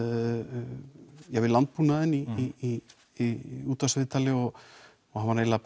við landbúnaðinn í í í útvarpsviðtali og það var eiginlega